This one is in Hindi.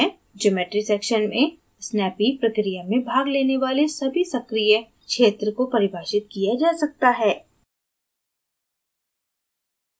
geometry section में snappy प्रक्रिया में भाग लेने वाले सभी सक्रिया क्षेत्र को परिभाषित किया जा सकता है